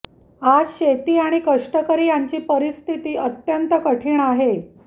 आज शेती आणि कष्टकरी यांची परिस्थिती अत्यंत कठीण आहे